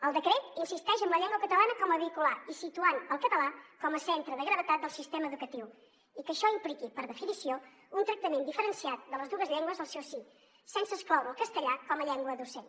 el decret insisteix en la llengua catalana com a vehicular i situant el català com a centre de gravetat del sistema educatiu i que això impliqui per definició un tractament diferenciat de les dues llengües al seu si sense excloure el castellà com a llengua docent